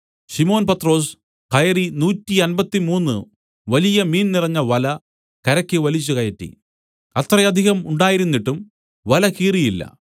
ശിമോൻ പത്രൊസ് കയറി നൂറ്റമ്പത്തി മൂന്ന് വലിയ മീൻ നിറഞ്ഞ വല കരയ്ക്ക് വലിച്ചുകയറ്റി അത്രയധികം ഉണ്ടായിരുന്നിട്ടും വല കീറിയില്ല